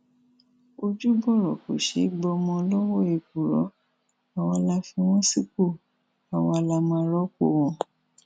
ojúbọrọ kò ṣeé gbọmọ lọwọ èkùrọ àwa la fi wọn sípò àwa la máa rọpò wọn